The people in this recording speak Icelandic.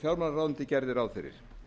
fjármálaráðuneytið gerði ráð fyrir